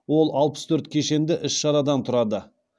ол алпыс төрт кешенді іс шарадан тұрады